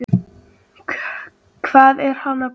Páll: Hvað er hann að bjóða þér upp á?